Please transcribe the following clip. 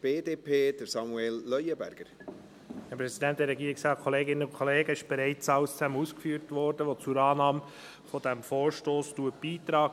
Es wurde bereits alles ausgeführt, was zur Annahme dieses Vorstosses beiträgt.